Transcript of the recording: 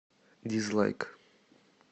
дизлайк